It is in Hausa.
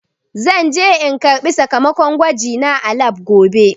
Zan je in karɓi sakamakon gwajina a lab gobe.